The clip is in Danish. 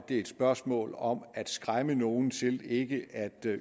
det er et spørgsmål om at skræmme nogen til ikke at